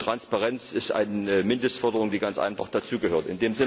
Transparenz ist eine Mindestforderung, die ganz einfach dazugehört.